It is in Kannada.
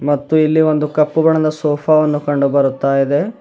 ಮತ್ತು ಇಲ್ಲಿ ಒಂದು ಕಪ್ಪು ಬಣ್ಣದ ಸೋಫಾ ವನ್ನು ಕಂಡು ಬರುತ್ತಾ ಇದೆ.